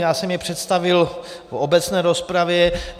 Já jsem je představil v obecné rozpravě.